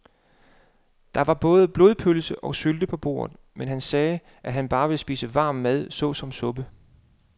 Der var både blodpølse og sylte på bordet, men han sagde, at han bare ville spise varm mad såsom suppe.